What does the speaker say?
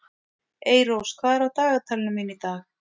Eyrós, hvað er á dagatalinu mínu í dag?